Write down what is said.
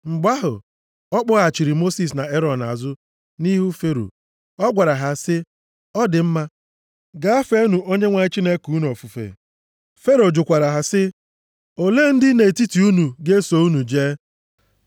Mgbe ahụ, a kpọghachiri Mosis na Erọn azụ nʼihu Fero. Ọ gwara ha sị, “Ọ dị mma, gaa feenụ Onyenwe anyị Chineke unu ofufe.” Fero jụkwara ha sị, “Olee ndị nʼetiti unu ga-eso unu jee?”